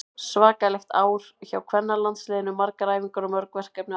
Svakalegt ár hjá kvennalandsliðinu, margar æfingar og mörg verkefni að baki.